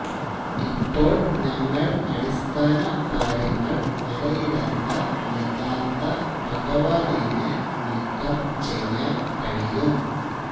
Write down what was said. ഇപ്പോൾ ഞങ്ങൾ അടിസ്ഥാനകാര്യങ്ങൾ വരയിടാത്ത യഥാർത്ഥ ഭഗവനേന് നീക്കംചെയ്യാൻ കഴിയും